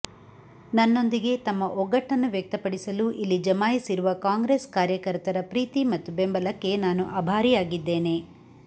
ನನ್ನೊಂದಿಗೆ ತಮ್ಮ ಒಗ್ಗಟ್ಟನ್ನು ವ್ಯಕ್ತಪಡಿಸಲು ಇಲ್ಲಿ ಜಮಾಯಿಸಿರುವ ಕಾಂಗ್ರೆಸ್ ಕಾರ್ಯಕರ್ತರ ಪ್ರೀತಿ ಮತ್ತು ಬೆಂಬಲಕ್ಕೆ ನಾನು ಆಭಾರಿಯಾಗಿದ್ದೇನೆ